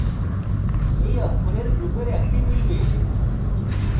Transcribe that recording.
এই অক্ষরের গ্রুপের একটি মিলবে